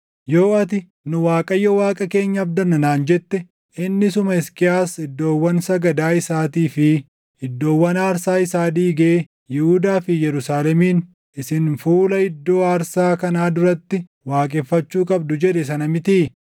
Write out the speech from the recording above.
Yoo ati, “Nu Waaqayyo Waaqa keenya abdanna” naan jette, inni isuma Hisqiyaas iddoowwan sagadaa isaatii fi iddoowwan aarsaa isaa diigee Yihuudaa fi Yerusaalemiin, “Isin fuula iddoo aarsaa kanaa duratti waaqeffachuu qabdu” jedhe sana mitii?